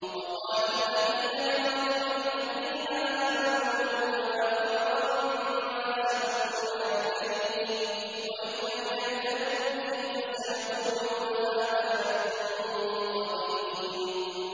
وَقَالَ الَّذِينَ كَفَرُوا لِلَّذِينَ آمَنُوا لَوْ كَانَ خَيْرًا مَّا سَبَقُونَا إِلَيْهِ ۚ وَإِذْ لَمْ يَهْتَدُوا بِهِ فَسَيَقُولُونَ هَٰذَا إِفْكٌ قَدِيمٌ